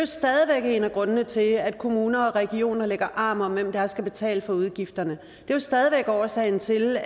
stadig væk en af grundene til at kommuner og regioner lægger arm om hvem der skal betale for udgifterne det er stadig væk årsagen til